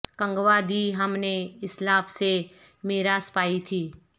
گنواں دی ہم نے اسلاف سے میراث پائی تھی